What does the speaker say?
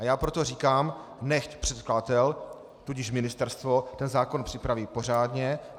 A já proto říkám, nechť předkladatel, tudíž ministerstvo, ten zákon připraví pořádně.